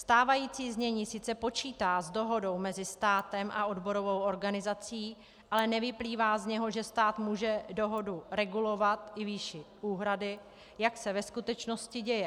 Stávající znění sice počítá s dohodou mezi státem a odborovou organizací, ale nevyplývá z něho, že stát může dohodu regulovat i výší úhrady, jak se ve skutečnosti děje.